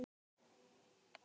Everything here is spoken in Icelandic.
Það verður veisla fyrir augað.